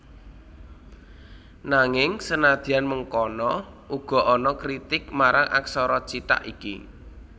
Nanging senadyan mengkono uga ana kritik marang aksara cithak iki